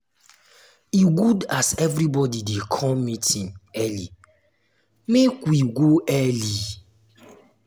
e good as everybody dey come meeting early make we go early.